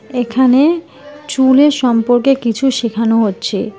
এখানে চুলের সম্পর্কে কিছু শেখানো হচ্চে।